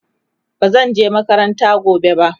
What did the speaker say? bazan je makaranta gobe ba